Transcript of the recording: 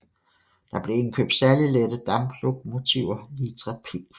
Der blev indkøbt særlig lette damplokomotiver Litra P